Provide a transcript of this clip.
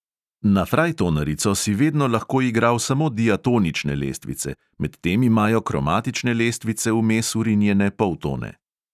Na frajtonarico si vedno lahko igral samo diatonične lestvice, medtem imajo kromatične lestvice vmes vrinjene poltone.